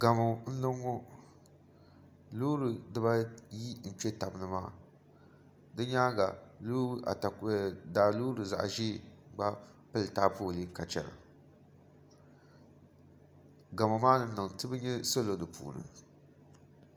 Gamo n niŋ ŋɔ loori dibayi n kpɛ tabi ni maa di nyaanga daa loori zaɣ ʒiɛ ka pili taapooli ka chɛna gamo maa ni niŋ tibi nyɛ salo di puuni